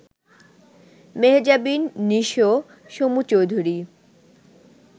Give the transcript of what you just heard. Mehjabin, Nisho, Somu Chowdhury